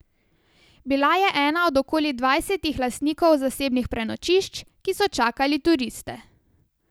Bila je ena od okoli dvajsetih lastnikov zasebnih prenočišč, ki so čakali turiste.